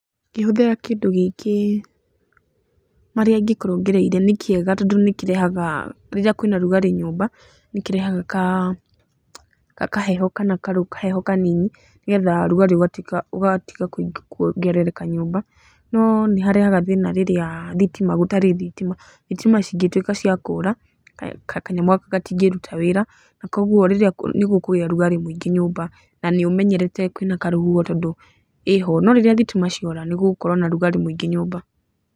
Ngĩhũthĩra kĩndũ gĩkĩ, marĩa ingĩkorwo ngereire, nĩ kĩega tondũ nĩ kĩrehaga, rĩrĩa kwĩna ũrugarĩ nyumba nĩ kĩrehaga kaheho kana kaheho kanini nĩ getha ũrugarĩ ũgatiga kuongerereka nyũmba, no nĩ harehaga thĩna rĩrĩa thitima gũtarĩ thitima, thitima cingĩtuĩka cia kũũra kanyamũ gaka gatingĩruta wĩra, na kuũguo nĩ gũkũgĩa rugarĩ mwingĩ nyũmba na nĩ ũmenyerete kwĩna karũhuho tondũ ĩho. No rĩrĩa thitima ciora nĩgũgũkorwo na rugarĩ mũingĩ nyũmba.